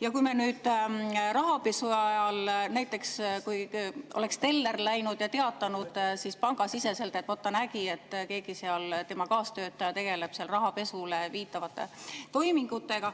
Ja kui nüüd rahapesu ajal oleks näiteks teller läinud ja teatanud pangasiseselt, et ta nägi, et keegi tema kaastöötaja tegeleb seal rahapesule viitavate toimingutega